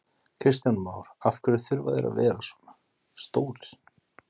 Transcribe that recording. Kristján Már: Af hverju þurfa þeir að vera svona stórir?